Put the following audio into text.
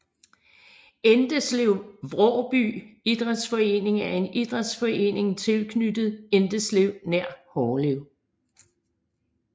Endeslev Vråby Idræts Forening er en idrætsforening tilknyttet Endeslev nær Hårlev